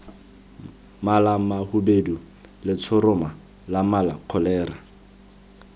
malamahubedu letshoroma la mala kholera